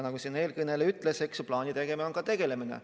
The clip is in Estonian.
Nagu üks eelkõneleja ütles, on ka plaani tegemine asjaga tegelemine.